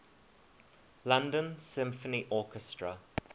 london symphony orchestra